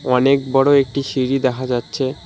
অনেক বড় একটি সিঁড়ি দেখা যাচ্ছে।